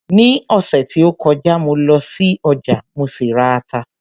Ní ọ̀sẹ̀ tí ó kọjá mo lọ sí ọjà, mo sì ra ata